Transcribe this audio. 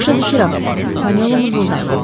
“Başa düşürəm”, Panelo mızıldandı.